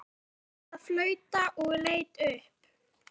Ég hætti að flauta og leit upp.